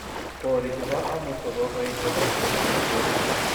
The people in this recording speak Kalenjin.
borii che bo amut ko koe che bo buch eng borie